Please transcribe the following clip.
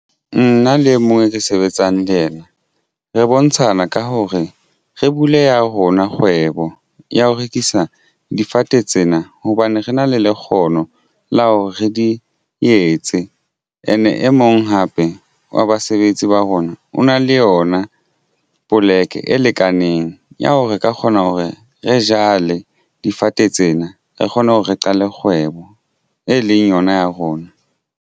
Nna le mo re sebetsang le yena re bontshana ka hore re buleha rona kgwebo ya ho rekisa difate tsena hobane re na le le kgono la hore re di etse and e mong hape wa basebetsi ba rona o na le yona poleke e lekaneng ya hore reka kgona ho re re jale difate tsena re kgone ho re qale kgwebo e leng yona ya rona.